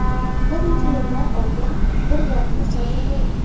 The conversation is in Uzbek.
Bir necha yillar oldin bir voqea sodir bo‘ldi.